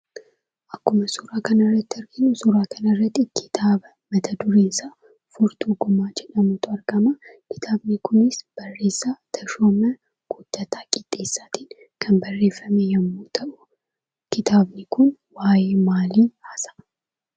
Akkuma suuraa kanarratti arginu kitaaba mat-dureen isaa "Furtuu Gumaa" jedhutu argama. Kitaabni kunis barreessaa Tashoomaa Guuttataa Qixxeessaatiin kan barreeffame yemmuu ta'u, kitaabni kun waayee maalii haasa'aa?